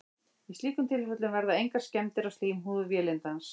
í slíkum tilfellum verða engar skemmdir á slímhúð vélindans